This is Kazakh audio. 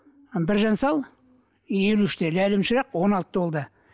ы біржан сал елу үште ләйлім шырақ он алтыда ол да